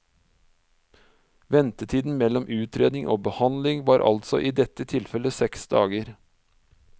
Ventetiden mellom utredning og behandling var altså i dette tilfellet seks dager.